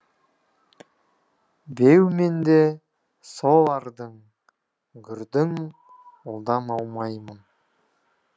беу мен де сол ардың гүрдің ұлдан аумаймын